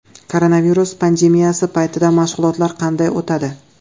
Koronavirus pandemiyasi paytida mashg‘ulotlar qanday o‘tadi?